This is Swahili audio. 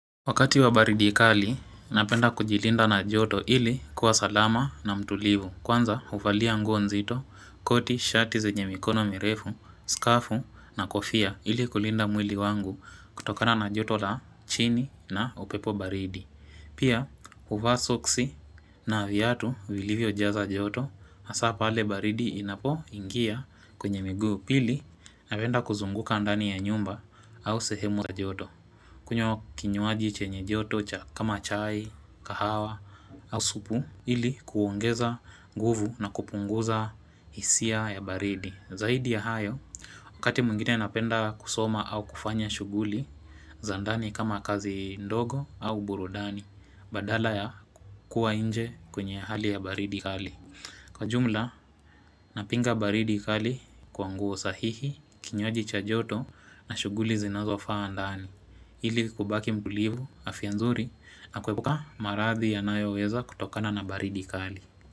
Wakati wa baridi kali, napenda kujilinda na joto ili kuwa salama na mtulivu. Kwanza, uvalia nguo nzito, koti, shati zenye mikono mirefu, skafu na kofia ili kulinda mwili wangu kutokana na joto la chini na upepo baridi. Pia, uvaa soksi na viatu vilivyojaza joto, asaa pale baridi inapoingia kwenye miguu pili, napenda kuzunguka ndani ya nyumba au sehemu za joto. Kunywa kinywaji chenye joto cha kama chai, kahawa au supu ili kuongeza nguvu na kupunguza hisia ya baridi. Zaidi ya hayo, wakati mwingine napenda kusoma au kufanya shughuli za ndani kama kazi ndogo au burudani, badala ya kua inje kwenye hali ya baridi kali. Kwa jumla, napinga baridi kali kwa nguo sahihi, kinywaji cha joto na shughuli zinazofaa ndani. Ili kubaki mtulivu, afia nzuri na kwepuka maradhi yanayoweza kutokana na baridi kali.